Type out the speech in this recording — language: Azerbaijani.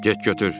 Get götür.